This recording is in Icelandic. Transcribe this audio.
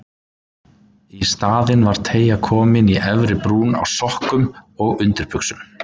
Í staðinn var teygja komin í efri brún á sokkum og á undirbuxum.